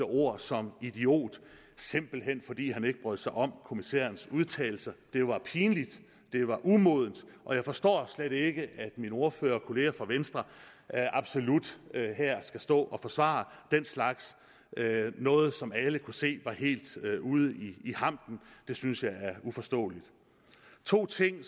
ord som idiot simpelt hen fordi han ikke brød sig om kommissærens udtalelser det var pinligt det var umodent og jeg forstår slet ikke at min ordførerkollega fra venstre absolut skal stå og forsvare den slags noget som alle kunne se var helt ude i hampen det synes jeg er uforståeligt to ting